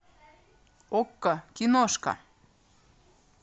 окко киношка